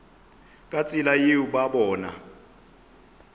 ka tsela yeo ba bona